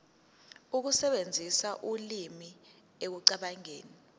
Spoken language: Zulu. ukusebenzisa ulimi ekucabangeni